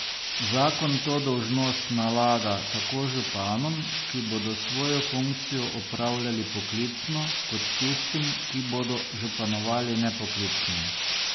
Zakon to dolžnost nalaga tako županom, ki bodo svojo funkcijo opravljali poklicno, kot tistim, ki bodo županovali nepoklicno.